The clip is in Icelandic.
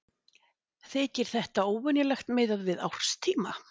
Þykir þetta óvenjulegt miðað við árstíma